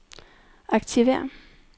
aktiver